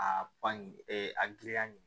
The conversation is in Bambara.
A ɲin a giriya ɲini